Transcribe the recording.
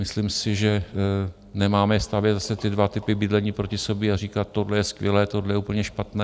Myslím si, že nemáme stavět zase ty dva typy bydlení proti sobě a říkat - tohle je skvělé, tohle je úplně špatné.